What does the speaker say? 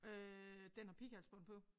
Øh den har pighalsbånd på